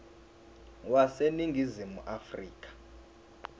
wase ningizimu afrika